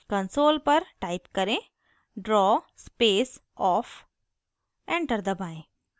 console पर type करें draw off draw space off enter दबाएं